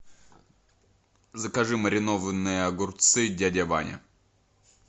закажи маринованные огурцы дядя ваня